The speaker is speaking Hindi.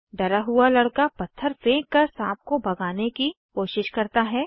डरा हुआ लड़का पत्थर फेंक कर साँप को भगाने की कोशिश करता है